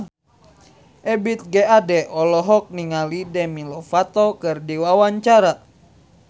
Ebith G. Ade olohok ningali Demi Lovato keur diwawancara